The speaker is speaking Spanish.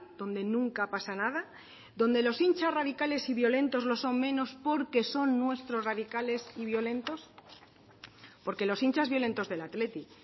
donde nunca pasa nada donde los hinchas radicales y violentos los son menos porque son nuestros radicales y violentos porque los hinchas violentos del athletic